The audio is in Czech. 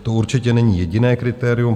To určitě není jediné kritérium.